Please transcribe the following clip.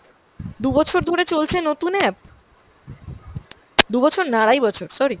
দু'বছর ধরে চলছে নতুন app! দু'বছর না আরাই বছর sorry।